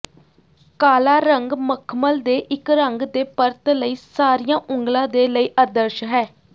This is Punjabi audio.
ਕਾਲਾ ਰੰਗ ਮਖਮਲ ਦੇ ਇੱਕ ਰੰਗ ਦੇ ਪਰਤ ਲਈ ਸਾਰੀਆਂ ਉਂਗਲਾਂ ਦੇ ਲਈ ਆਦਰਸ਼ ਹੈ